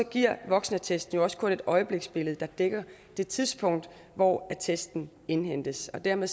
giver voksenattesten jo også kun et øjebliksbillede der dækker det tidspunkt hvor attesten indhentes og dermed